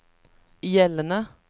gjeldende